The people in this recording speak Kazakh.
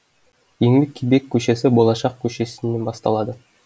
еңлік кебек көшесі болашақ көшесінен басталады